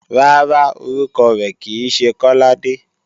Rárá, orúkọ rẹ̀ kì í ṣe Kọ́ládé